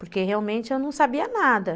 porque realmente eu não sabia nada.